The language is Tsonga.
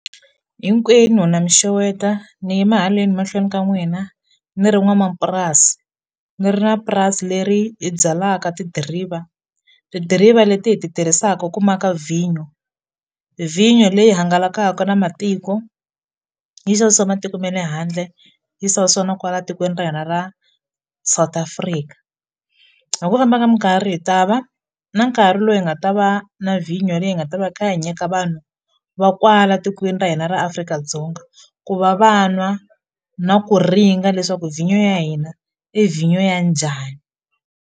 Hinkwenu na mi xeweta ni yima haleni mahlweni ka n'wina ni ri n'wamapurasi ni ri na purasi leri hi byalaka tidiriva tidiriva leti hi ti tirhisaka ku maka vinyo vinyo leyi hangalakaka na matiko yi xavisiwa matiko ma le handle yi na kwala tikweni ra hina ra South Africa hi ku famba ka minkarhi hi ta va na nkarhi lowu hi nga ta va na vinyo leyi hi nga ta va kha hi ka vanyinhu va kwala tikweni ra hina ra Afrika-Dzonga ku va va nwa na ku ringa leswaku vinyo ya hina i vinyo ya njhani.